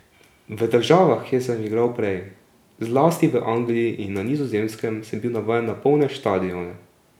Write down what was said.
V državah, kjer sem igral prej, zlasti v Angliji in na Nizozemskem, sem bil navajen na polne štadione.